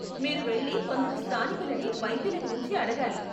మీరు వెళ్లి కొందరు స్థానికులని వైద్యుల గురించి అడగాలి.